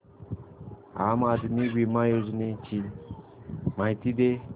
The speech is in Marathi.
आम आदमी बिमा योजने ची माहिती दे